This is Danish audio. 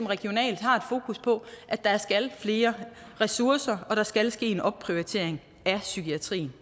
regionalt har et fokus på at der skal flere ressourcer og at der skal ske en opprioritering af psykiatrien